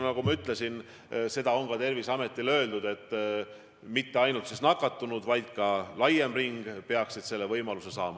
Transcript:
Nagu ma ütlesin, Terviseametile on öeldud, et mitte ainult nakatunud, vaid ka laiem ring peaksid selle võimaluse saama.